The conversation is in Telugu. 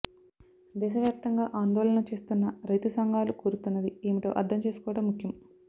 దేశవ్యాప్తంగా ఆందోళనలు చేస్తున్న రైతు సంఘాలుకోరుతున్నది ఏమిటో అర్థం చేసుకోవటం ముఖ్యం